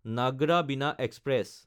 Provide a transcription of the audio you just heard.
নাগদা–বিনা passenger